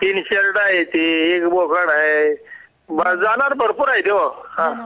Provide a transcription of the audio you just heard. तीन शेल्ड आहे ति एक बोकड आहे जनावर भरपूर आहेत हा